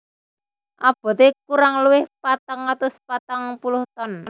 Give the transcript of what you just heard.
Aboté kurang luwih patang atus patang puluh ton